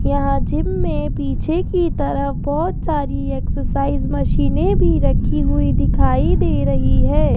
यहां जिम में पीछे की तरफ बहोत सारी एक्सरसाइज मशीनें भी रखी हुई दिखाई दे रही है।